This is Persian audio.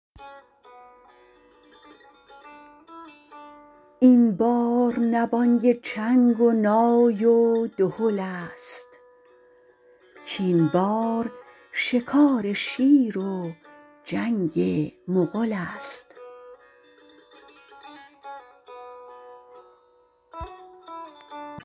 این بار نه بانگ چنگ و نای و دهل است کاین بار شکار شیر و جنگ مغل است